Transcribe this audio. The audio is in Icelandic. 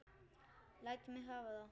Læt mig hafa það!